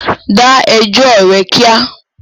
Da ẹjọ́ rẹ̀ kíá!